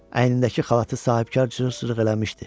Əynindəki xalatı sahibkar cır-cırıq eləmişdi.